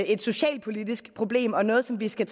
et socialpolitisk problem og noget som vi skal